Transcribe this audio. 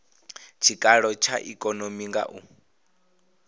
tshikalo tsha ikonomi nga u